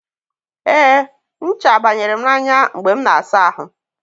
e, ncha banyere m n'anya mgbe m na-asa ahụ.